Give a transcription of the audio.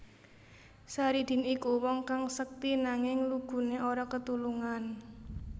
Saridin iku wong kang sekti nanging luguné ora ketulungan